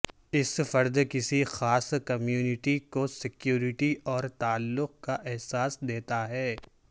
اس فرد کسی خاص کمیونٹی کو سیکیورٹی اور تعلق کا احساس دیتا ہے